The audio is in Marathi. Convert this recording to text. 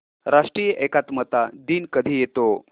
राष्ट्रीय एकात्मता दिन कधी येतो